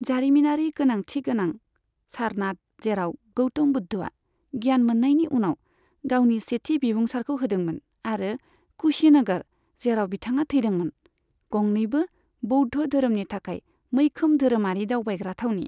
जारिमिनारि गोनांथि गोनां सारनाथ जेराव गौतम बुद्धआ गियान मोन्नायनि उनाव गावनि सेथि बिबुंसारखौ होदोंमोन आरो कुशीनगर जेराव बिथाङा थैदोंमोन, गंनैबो बौद्ध धोरोमनि थाखाय मैखोम धोरोमारि दावबायग्रा थावनि।